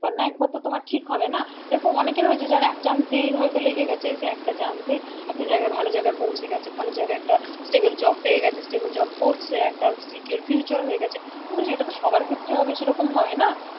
একবার না একবার তো তোমার ঠিক হবে না, দেখো অনেকেরই হয়েছে যারা এক chance এই হয়তো লেগে গেছে, সে একটা chance এই একটা জায়গায় ভালো জায়গায় পৌছে গেছে ভালো জায়গায় একটা stable job পেয়ে গেছে stable job করছে একটা secure future হয়ে গেছে কিন্তু সেটা তো সবার ক্ষেত্রে হবে সেরকম নয় না,